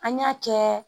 An y'a kɛ